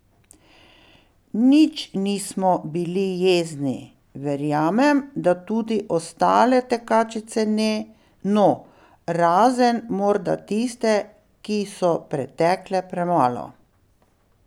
Nič nismo bili jezni, verjamem, da tudi ostale tekačice ne, no, razen morda tiste, ki so pretekle premalo.